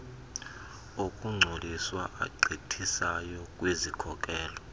okungcoliswa agqithisayo kwizikhokelo